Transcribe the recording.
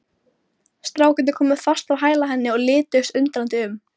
Strákarnir komu fast á hæla henni og lituðust undrandi um.